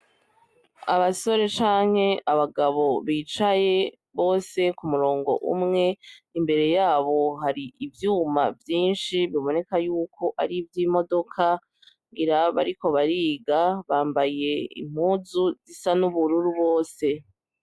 Abasore canke abagabo bicaye bose k'umurongo umwe, imbere yabo hari ivyuma vyinshi biboneka yuko ari ivy'imodoka ngira bariko bariga, bambaye impuzu zisa n'ubururu bose.